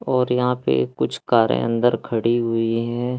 और यहां पे कुछ करें अंदर खड़ी हुई है।